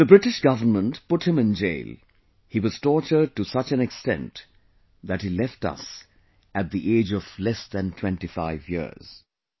The British government put him in jail; he was tortured to such an extent that he left us at the age of less than 25years